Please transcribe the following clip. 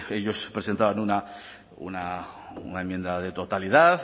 ellos presentaban una enmienda de totalidad